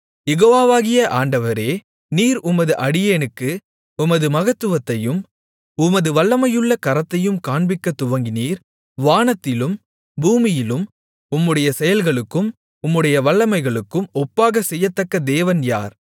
யெகோவாவாகிய ஆண்டவரே நீர் உமது அடியேனுக்கு உமது மகத்துவத்தையும் உமது வல்லமையுள்ள கரத்தையும் காண்பிக்கத் துவங்கினீர் வானத்திலும் பூமியிலும் உம்முடைய செயல்களுக்கும் உம்முடைய வல்லமைகளுக்கும் ஒப்பாகச் செய்யத்தக்க தேவன் யார்